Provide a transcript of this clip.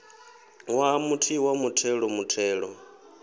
ṅwaha muthihi wa muthelo muthelo